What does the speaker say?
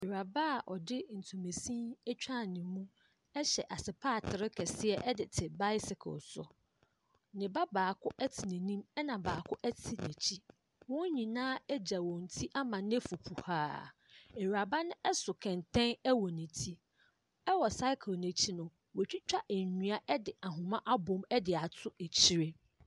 Awuraba a ɔde ntomasin atwa ne mu hyɛ aspatre kɛseɛ de te bicycle so. Ne ba baako te n'anim na baako te n'akyi. Wɔn nyinaa egya wɔn ti ama no afu kuhaa. Awuraba no so kɛntɛn wɔ ti. Ɛwɔ cycle no akyi no, watwitwa nnua ɛde ahoma abom de ato akyire.